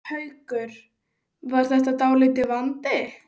Haukur: Var það dálítill vandi?